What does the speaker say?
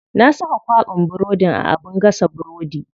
Na saka kwaɓin burodin a abin gasa burodi.